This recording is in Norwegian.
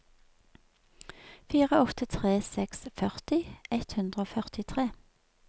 fire åtte tre seks førti ett hundre og førtitre